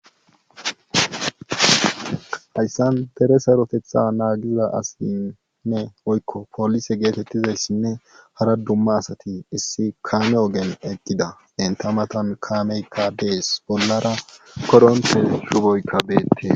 Haysan dere saroteththa naagiza asati woykko polise geetetizaytinne ara dumma asati issi kaame ogiyan eqqida entta matan kaamekka dees. bollara korontte shufoykkabeetees.